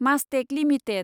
Mastek limited